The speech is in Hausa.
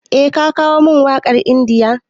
Eh ka kawo min waƙar India.